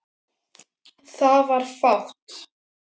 Það var fátt.